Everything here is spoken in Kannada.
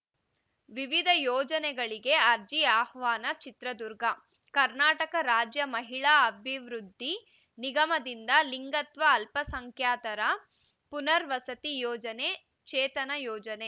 ವಿವಿಧ ಯೋಜನೆಗಳಿಗೆ ಅರ್ಜಿ ಆಹ್ವಾನ ಚಿತ್ರದುರ್ಗ ಕರ್ನಾಟಕ ರಾಜ್ಯ ಮಹಿಳಾ ಅಭಿವೃದ್ಧಿ ನಿಗಮದಿಂದ ಲಿಂಗತ್ವ ಅಲ್ಪಸಂಖ್ಯಾತರ ಪುನರ್ವಸತಿ ಯೋಜನೆ ಚೇತನ ಯೋಜನೆ